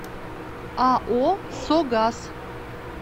ао согаз